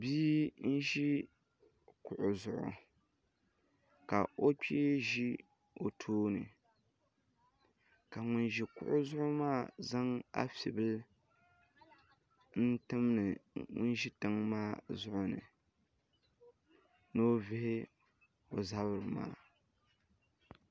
Bia n-ʒi kuɣu zuɣu ka o kpee ʒi o tooni ka ŋun ʒi kuɣu zuɣu maa zaŋ afibila tim ŋun ʒi tiŋa maa zuɣu ni ni o vihi o zuɣu ni